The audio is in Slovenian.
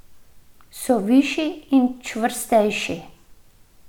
So višji in čvrstejši.